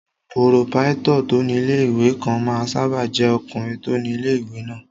Pòròpáítọ̀ tó ní ilé-ìwé kan máa ń sáábà jẹ́ ọkùnrin tó ni ilé-ìwé náà